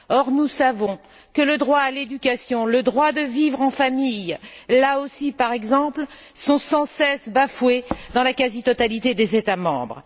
Or, nous savons que le droit à l'éducation, le droit de vivre en famille, là aussi, par exemple, sont sans cesse bafoués dans la quasi totalité des États membres.